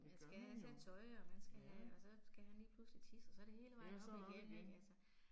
Det gør man jo, ja. Ja så det op igen